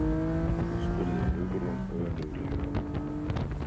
spurði Hugrún önuglega.